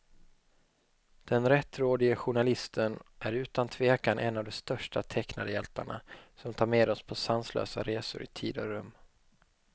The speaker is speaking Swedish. Den rättrådige journalisten är utan tvekan en av de största tecknade hjältarna, som tar med oss på sanslösa resor i tid och rum.